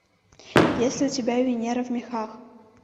есть ли у тебя венера в мехах